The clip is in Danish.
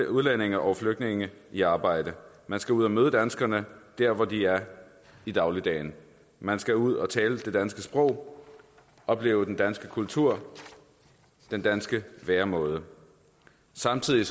udlændinge og flygtninge i arbejde man skal ud og møde danskerne der hvor de er i dagligdagen man skal ud og tale det danske sprog opleve den danske kultur den danske væremåde og samtidig